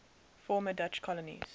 former dutch colonies